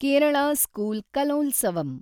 Kerala school Kalolsavam